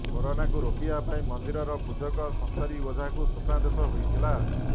କରୋନାକୁ ରୋକିବା ପାଇଁ ମନ୍ଦିରର ପୂଜକ ସଂସାରୀ ଓଝାକୁ ସ୍ୱପ୍ନାଦେଶ ହୋଇଥିଲା